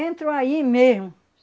Entram aí mesmo.